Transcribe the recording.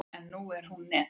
En nú er net.